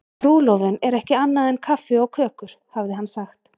Trúlofun er ekki annað en kaffi og kökur, hafði hann sagt.